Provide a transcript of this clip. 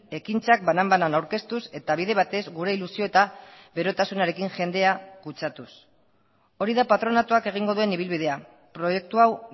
ekintzak banan banan aurkeztuz eta bide batez gure ilusio eta berotasunarekin jendea kutsatuz hori da patronatuak egingo duen ibilbidea proiektu hau